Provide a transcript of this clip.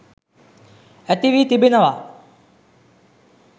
ඇති වී තිබෙනවා.